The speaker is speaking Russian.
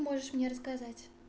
можешь мне рассказать